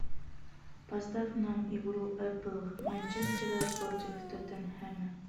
поставь нам игру апл манчестера против тоттенхэма